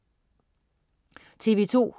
TV2: